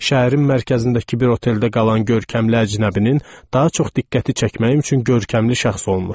Şəhərin mərkəzindəki bir oteldə qalan görkəmli əcnəbinin daha çox diqqəti çəkmək üçün görkəmli şəxs olmuşdum.